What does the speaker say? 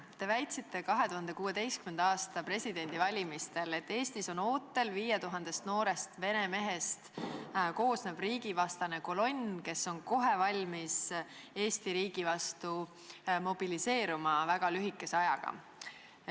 Te väitsite 2016. aasta presidendivalimistel, et Eestis on ootel 5000 noorest vene mehest koosnev riigivastane kolonn, kes on kohe valmis Eesti riigi vastu mobiliseeruma väga lühikese ajaga.